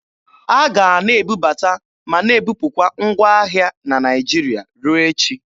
A ga a na-ebubata ma na-ebupụkwa ngwa ahịa na Naịjirịa ruo echi.